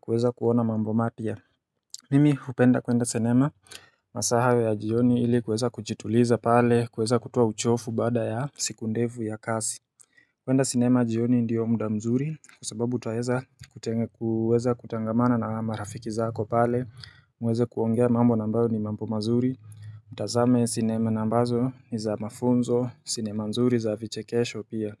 kuweza kuona mambo mapya Mimi hupenda kuenda sinema masaa hayo ya jioni ili kuweza kujituliza pale kuweza kutoa uchofu bada ya siku ndevu ya kasi kwenda sinema jioni ndio mda mzuri sababu twaweza kutenge kuweza kutangamana na marafiki zako pale mweze kuongea mambo na ambayo ni mambo mzuri Mtazame sinema na ambazo ni za mafunzo sinema mzuri za vichekesho pia.